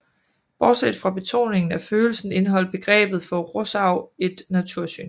Bortset fra betoningen af følelsen indeholdt begrebet for Rousseau et natursyn